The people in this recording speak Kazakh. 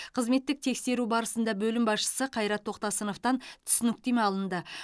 қызметтік тексеру барысында бөлім басшысы қайрат тоқтасыновтан түсініктеме алынды